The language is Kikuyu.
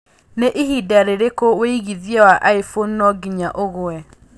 nĩ ĩhinda rĩrĩkũ wĩigĩthĩa wa iphone no nginya ũgũe